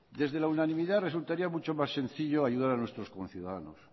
desde la unanimidad resultaría mucho más sencillo ayudar a nuestros conciudadanos